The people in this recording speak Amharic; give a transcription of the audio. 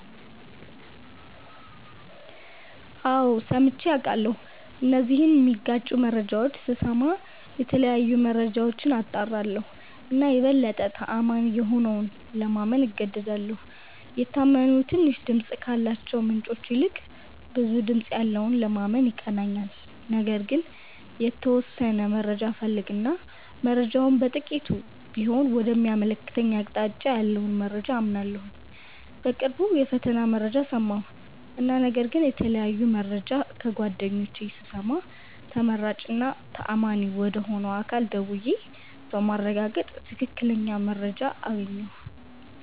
አዎ ሠምቼ አቃለሁ እነዚህን ሚጋጩ መረጃዎች ስስማ የተለያዩ መረጃዎች አጣራለሁ እና የበለጠ ተአማኒ የሆነውን ለማመን እገደዳለሁ። የታመኑ ትንሽ ድምፅ ካላቸው ምንጮች ይልቅ ብዙ ድምጽ ያለውን ለማመን ይቀለኛል። ነገር ግን የተወሠነ መረጃ እፈልግ እና መረጃው በጥቂቱም ቢሆን ወደ ሚያመለክተኝ አቅጣጫ ያለውን መረጃ አምናለሁ። በቅርቡ የፈተና መረጃ ሠማሁ እና ነገር ግን የተለያየ መረጃ ከጓደኞቼ ስሰማ ተመራጭ እና ተአማኝ ወደ ሆነ አካል ደውዬ በማረጋገጥ ትክክለኛ መረጃ አገኘሁ።